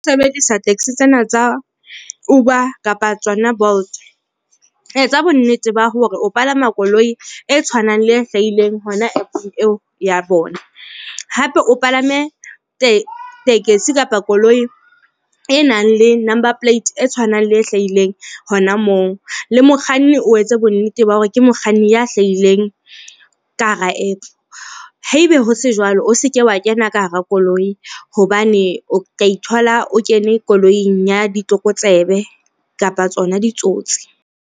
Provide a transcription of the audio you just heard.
Sebedisa taxi tsena tsa Uber kapa tsona Bolt. Etsa bo nnete ba hore o palama koloi e tshwanang le e hlahileng hona app-ng eo ya bona. Hape o palame tekesi kapa koloi e nang le number plate e tshwanang le e hlahileng hona moo, le mokganni o etse bonnete ba hore ke mokganni ya hlahileng ka hara app. Haebe ho se jwalo, o seke wa kena ka hara koloi hobane o ka ithola o kene koloing ya ditlokotsebe kapa tsona ditsotsi.